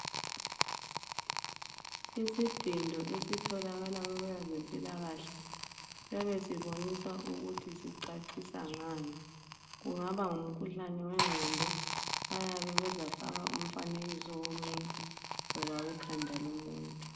Isidindo esitholakala kwabezempilakahle siyabe sibonisa ukuthi sicacisa ngani , kungaba ngumkhuhlane wengqondo bayabe bezafaka umfanekiso womuntu loba ikhanda lomuntu